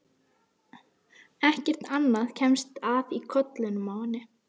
Það þarf stundum kjark til að taka skrefið.